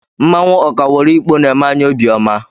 Mmanwụ Okawaru Ikpo na-eme anyị obiọma.